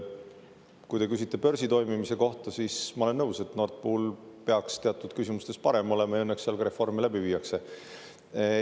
Kui te küsite börsi toimimise kohta, siis ma olen nõus, et Nord Pool peaks teatud küsimustes parem olema, ja õnneks seal ka reforme läbi viiakse.